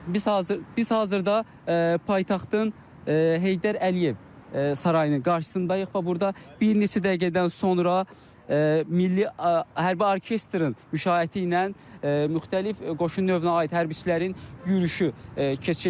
Biz hazırda paytaxtın Heydər Əliyev sarayının qarşısındayıq və burda bir neçə dəqiqədən sonra milli hərbi orkestrın müşayiəti ilə müxtəlif qoşun növünə aid hərbiçilərin yürüşü keçiriləcək.